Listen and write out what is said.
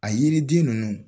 A yiriden ninnu